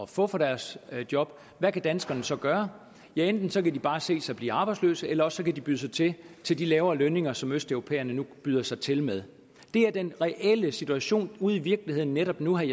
få for deres job hvad kan danskerne så gøre ja enten kan de bare se sig selv blive arbejdsløse eller også kan de byde sig til til de lavere lønninger som østeuropæerne nu byder sig til med det er den reelle situation ude i virkeligheden netop nu vil